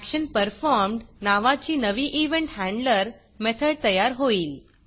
ExitActionPerformed नावाची नवी event handler method तयार होईल